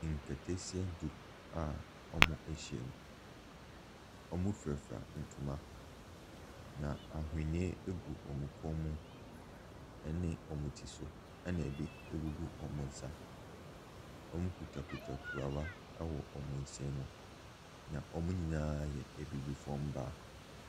Nkataasia du a wɔahyia mu. Wɔfurafura ntoma na aweneɛ ɛgu wyn kɔn mu ɛne wɔn ti so, ɛna bi ɛgugu wɔn nsa. Wɔkitakita kuruwa ɛwɔ wɔn nsa mu. Na wɔn nyinaa ɛyɛ abibifoɔ mmaa.